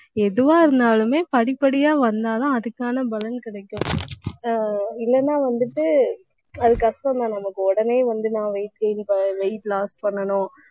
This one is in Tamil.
எதுவா இருந்தாலுமே படிப்படியா வந்தாதான் அதுக்கான பலன் கிடைக்கும் ஆஹ் இல்லைன்னா வந்துட்டு அது கஷ்டம் தான். நமக்கு உடனே வந்து நான் weight gain weight loss பண்ணணும்